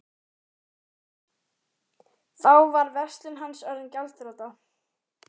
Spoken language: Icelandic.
Þá var verslun hans orðin gjaldþrota.